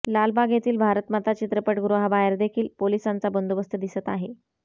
लालबाग येथील भारतमाता चित्रपट गृहाबाहेर देखील पोलिसांचा बंदोबस्त दिसत आहे